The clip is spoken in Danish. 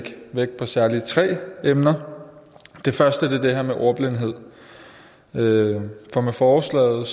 vægt på særlig tre emner det første er det her med ordblindhed med forslaget